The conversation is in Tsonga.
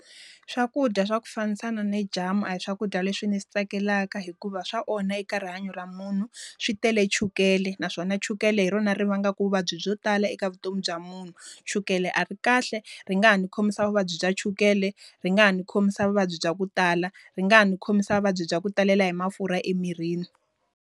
Swakudya swa ku fambisana ni jamu a hi swakudya leswi ndzi swi tsakelaka hikuva swa onha eka rihanyo ra munhu. Swi tele chukele naswona chukele hi rona ri va nga ku vuvabyi byo tala eka vutomi bya munhu. Chukele a ri kahle, ri nga ha ni khomisa vuvabyi bya chukele, ri nga ha ni khomisa vuvabyi bya ku tala, ri nga ha ni khomisa vuvabyi bya ku talela hi mafurha emirini.